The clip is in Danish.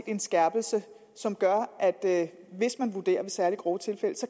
en skærpelse som gør at hvis man vurderer er særlig grove tilfælde